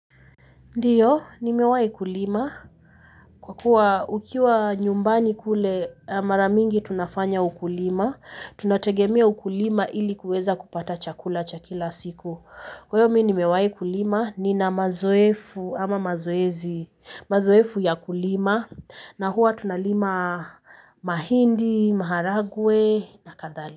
Ndiyo, nimewahi kulima. Kwa kuwa ukiwa nyumbani kule mara mingi tunafanya ukulima, tunategemea ukulima ili kuweza kupata chakula cha kila siku. Kwa hiyo mi nimewahi kulima nina mazoefu ama mazoezi, mazoefu ya kulima na huwa tunalima mahindi, maharagwe na kadhalika.